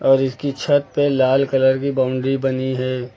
और इसकी छत पे लाल कलर की बाउंड्री बनी है।